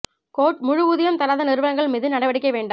court முழு ஊதியம் தராத நிறுவனங்கள் மீது நடவடிக்கை வேண்டாம்